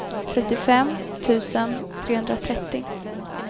trettiofem tusen trehundratrettio